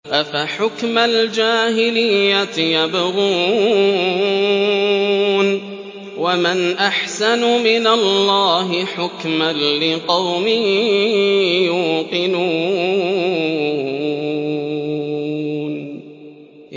أَفَحُكْمَ الْجَاهِلِيَّةِ يَبْغُونَ ۚ وَمَنْ أَحْسَنُ مِنَ اللَّهِ حُكْمًا لِّقَوْمٍ يُوقِنُونَ